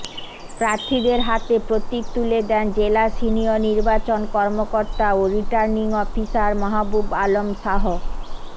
প্রার্থীদের হাতে প্রতীক তুলে দেন জেলা সিনিয়র নির্বাচন কর্মকর্তা ও রিটার্নিং অফিসার মাহবুব আলম শাহ